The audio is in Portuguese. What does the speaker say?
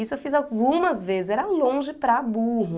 Isso eu fiz algumas vezes, era longe para burro.